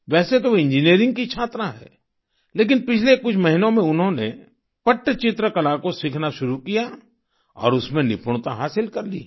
वैसे तो वे इंजिनियरिंग की छात्रा हैं लेकिन पिछले कुछ महीनों में उन्होंने पट्टचित्र कला को सीखना शुरू किया और उसमें निपुणता हासिल कर ली है